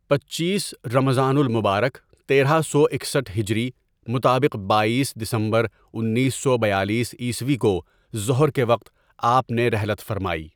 پنچیس ؍رمضان المبارک تیرہ سو اکسٹھ ہجری مطابق بایس ؍دسمبر انیس سو بیالیس عیسوی کو ظہر کے وقت آپ نے رحلت فرمائی.